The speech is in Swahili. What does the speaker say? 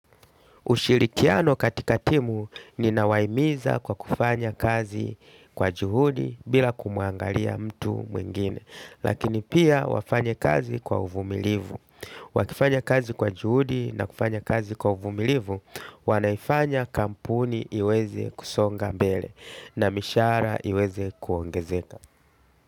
Ushirikiano katika timu ninawahimiza kwa kufanya kazi kwa juhudi bila kumuangalia mtu mwingine. Lakini pia wafanye kazi kwa uvumilivu. Wakifanya kazi kwa juhudi na kufanya kazi kwa uvumilivu, wanaifanya kampuni iweze kusonga mbele na mishahara iweze kuongezeka.